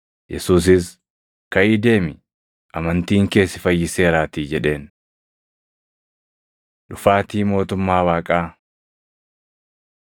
Yesuusis, “Kaʼii deemi; amantiin kee si fayyiseeraatii” jedheen. Dhufaatii Mootummaa Waaqaa 17:26,27 kwf – Mat 24:37‑39